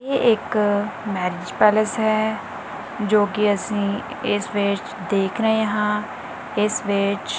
ਯਹ ਇੱਕ marriage palace ਹੈ ਜੋ ਕਿ ਅਸੀਂ ਇਸ ਵਿੱਚ ਦੇਖ ਰਹੇ ਹਾਂ ਇਸ ਵਿੱਚ--